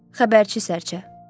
Xəbərçi sərçə.